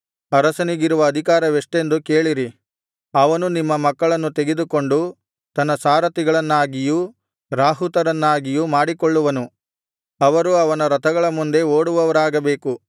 ಅರಸನಿಗಿರುವ ಅಧಿಕಾರವೆಷ್ಟೆಂದು ಕೇಳಿರಿ ಅವನು ನಿಮ್ಮ ಮಕ್ಕಳನ್ನು ತೆಗೆದುಕೊಂಡು ತನ್ನ ಸಾರಥಿಗಳನ್ನಾಗಿಯೂ ರಾಹುತರನ್ನಾಗಿಯೂ ಮಾಡಿಕೊಳ್ಳುವನು ಅವರು ಅವನ ರಥಗಳ ಮುಂದೆ ಓಡುವವರಾಗಬೇಕು